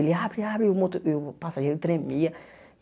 Ele abre, abre e o moto e o passageiro tremia.